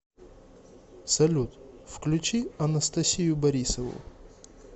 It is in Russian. салют включи анастасию борисову